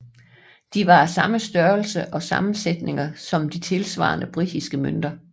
De var af samme størrelser og sammensætninger som de tilsvarende britiske mønter